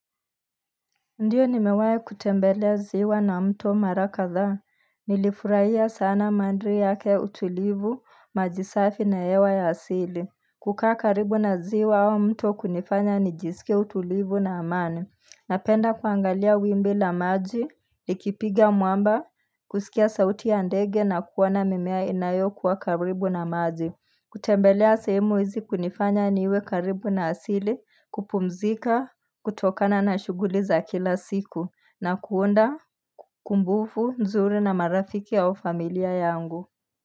Ndiyo nimewahi kutembelea ziwa na mto mara kadhaa, nilifurahia sana mandhari yake utulivu, maji safi na yewa ya asili. Kukaa karibu na ziwa au mto hunifanya nijisikie utulivu na amani. Napenda kuangalia wimbi la maji, likipiga mwamba, kusikia sauti ya ndege na kuoana mimea inayokuwa karibu na maji. Kutembelea sehemu hizi hunifanya niwe karibu na asili kupumzika, kutokana na shughuli za kila siku na kuunda kumbukumbu, nzuri na marafiki au familia yangu.